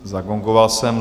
Zagongoval jsem.